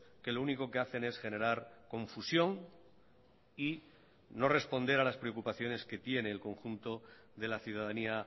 que lo único que hacen es generar confusión y no responder a las preocupaciones que tiene el conjunto de la ciudadanía